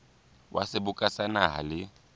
wa seboka sa naha le